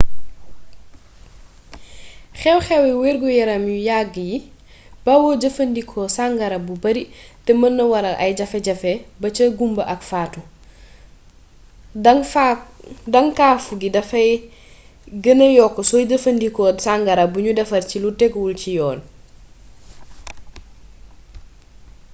xew-xewi wergu-yaram yu yagg yi bawoo jëfandikoo sangara bu bari te mën naa waral ay jafe-jafe ba ci gumba ak faatu daŋkaafu bi dafay gêna yokk sooy jëfandikoo sangara buñu defar ci lu tegguwul ci yoon